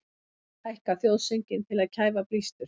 Hækka þjóðsönginn til að kæfa blístur